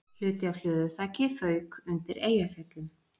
Hluti af hlöðuþaki fauk undir Eyjafjöllum